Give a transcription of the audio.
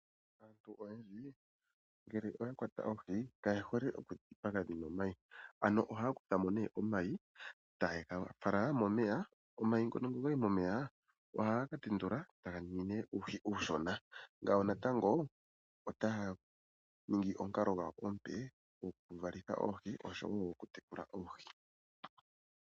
Aantu oyendji ngele oya kwata oohi kaye hole oku dhi dhipaga dhina omayi. Ano ohaya kuthamo nee omayi taye ga fala momeya. Omayi ngono nge ogayi momeya, ohaga ka tendula etaga ningi nee uuhi uushona. Ngawo natango otaya ningi omukalo gwawo omupe, goku valitha oohi oshowo oku tekula oohi.